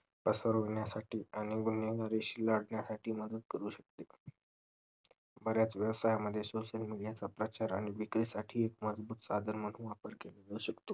पसरवण्यासाठी आणि वर्णन विश्लाग्यासाठी मदत करू शकते बर्‍याच व्यवसायमध्ये social media चा प्रचार आणि विक्री साठी एक मजबूत साधन म्हणून वापर केले जाऊ शकते